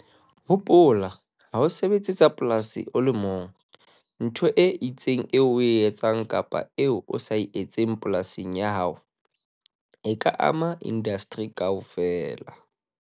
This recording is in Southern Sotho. Hopola, ha o sebetse tsa polasi o le mong. Ntho e itseng eo o e etsang kapa eo o sa e etseng polasing ya hao e ka ama indasteri kaofela.